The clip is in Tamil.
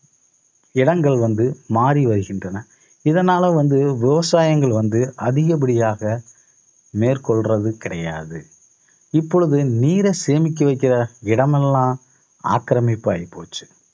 இடங்கள் வந்து, மாறி வருகின்றன. இதனால வந்து விவசாயங்கள் வந்து அதிகப்படியாக மேற்கொள்றது கிடையாது இப்பொழுது நீரை சேமிக்க வைக்கிற இடமெல்லாம் ஆக்கிரமிப்பு ஆயிப்போச்சு